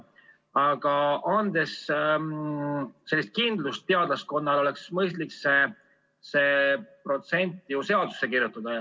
Aga andmaks kindlust teadlaskonnale, oleks mõistlik see protsent ju seadusesse kirjutada.